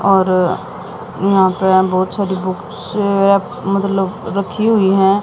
और यहां पे बहोत सारी बुक्स मतलब रखी हुई हैं।